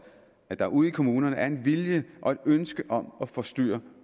at der ude i kommunerne er en vilje og et ønske om at få styr